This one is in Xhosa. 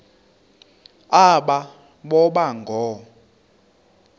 aba boba ngoo